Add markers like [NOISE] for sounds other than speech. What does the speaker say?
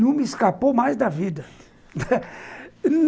Não me escapou mais da vida [LAUGHS]